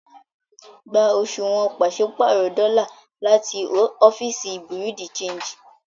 Gbà òṣuwọ́n pàṣipárọ̀ dọ́lá láti òfìíṣí Bureau-de-chanjì!